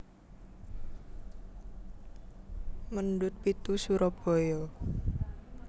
Mendut pitu Surabaya